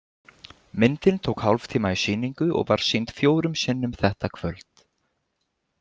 Myndin tók hálftíma í sýningu og var sýnd fjórum sinnum þetta kvöld.